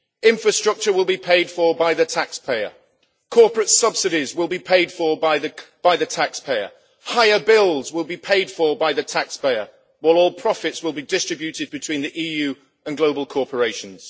Infrastructure will be paid for by the taxpayer, corporate subsidies will be paid for by the taxpayer, and higher bills will be paid for by the taxpayer, while all profits will be distributed between the EU and global corporations.